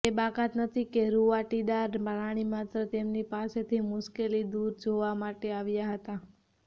તે બાકાત નથી કે રુંવાટીદાર પ્રાણી માત્ર તેમની પાસેથી મુશ્કેલી દૂર જોવા માટે આવ્યા હતા